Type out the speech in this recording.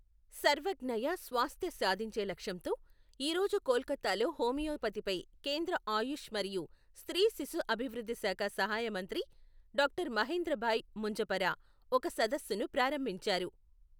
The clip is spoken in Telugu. సర్వజ్ఞయ స్వాస్థ్య సాధించే లక్ష్యంతో, ఈ రోజు కోల్కతాలో హోమియోపతిపై కేంద్ర ఆయుష్ మరియు స్త్రీ శిశు అభివృద్ధి శాఖ సహాయ మంత్రి డాక్టర్ మహేంద్రభాయ్ ముంజపరా, ఒక సదస్సును ప్రారంభించారు.